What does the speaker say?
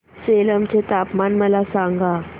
सेलम चे तापमान मला सांगा